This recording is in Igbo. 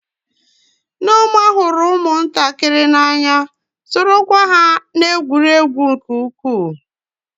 Nneoma hụrụ ụmụntakịrị n'anya, sorokwa ha na-egwuri egwu nke ukwuu.